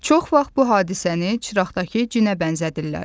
Çox vaxt bu hadisəni çıraqdakı cinə bənzədirlər.